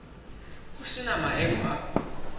ho se na maemo a